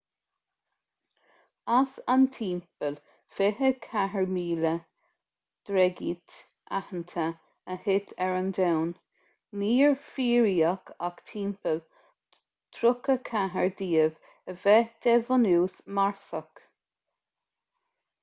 as an timpeall 24,000 dreigít aitheanta a thit ar an domhan níor fíoraíodh ach timpeall 34 díobh a bheith de bhunús marsach